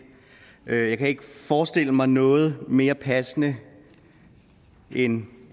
jeg kan ikke forestille mig noget mere passende end